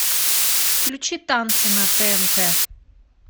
включи танцы на тнт